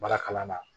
Baara kalan na